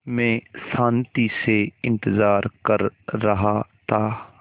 मैं शान्ति से इंतज़ार कर रहा था